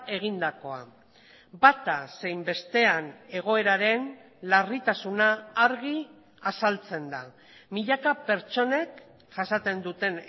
egindakoa bata zein bestean egoeraren larritasuna argi azaltzen da milaka pertsonek jasaten duten